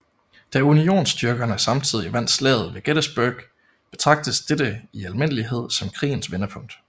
Da unionsstyrkerne samtidig vandt Slaget ved Gettysburg betragtes dette i almindelighed som krigens vendepunkt